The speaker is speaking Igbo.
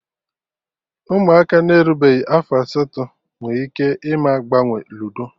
Ụmụaka na-erubeghị afọ asatọ nwe ike ịma agbanwe ludo